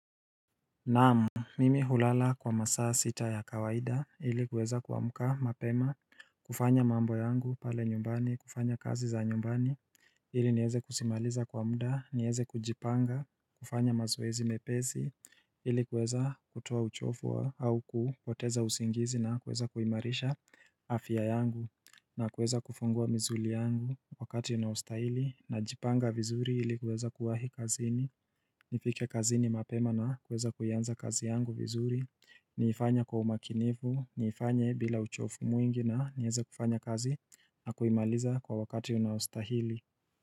Naam Mimi hulala kwa masaa sita ya kawaida ili kweza kuamka mapema kufanya mambo yangu pale nyumbani kufanya kazi za nyumbani ili nieze kusimaliza kwa mda nieze kujipanga kufanya mazoezi mepesi ili kuweza kutoa uchovu au kupoteza usingizi na kuweza kuimarisha afya yangu na kuweza kufungua misuli yangu wakati inaostahili najipanga vizuri ili kuweza kuwahi kazini Nifikie kazi ni mapema na kuweza kuyianza kazi yangu vizuri Niifanye kwa umakinifu, niifanya bila uchofu mwingi na nieze kufanya kazi na kuimaliza kwa wakati unaustahili.